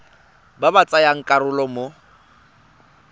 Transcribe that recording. ba ba tsayang karolo mo